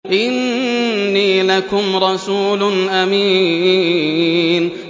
إِنِّي لَكُمْ رَسُولٌ أَمِينٌ